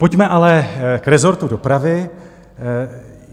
Pojďme ale k rezortu dopravy.